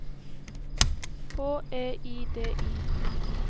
H E I D I